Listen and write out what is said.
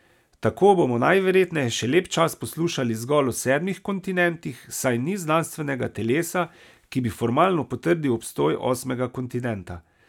Tako bomo najverjetneje še lep čas poslušali zgolj o sedmih kontinentih, saj ni znanstvenega telesa, ki bi formalno potrdil obstoj osmega kontinenta.